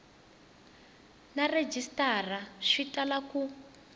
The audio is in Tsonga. na rhejisitara swi tala ku